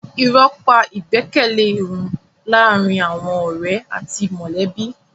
Irọ́ pa ìgbẹ́kẹ̀lé run láàárín àwọn ọ̀rẹ́ àti mọ̀lẹ́bí.